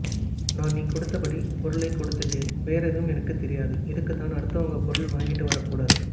நான் நீ கொடுத்தபடி பொருளைக் கொடுத்துட்டேன் வேறேதும் எனக்குத் தெரியாது இதுக்குத்தான் அடுத்தவங்க பொருள் வாங்கிட்டு வரக்கூடாது